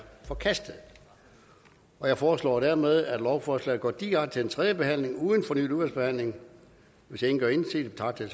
forkastet jeg foreslår dermed at lovforslaget går direkte til tredje behandling uden fornyet udvalgsbehandling hvis ingen gør indsigelse betragter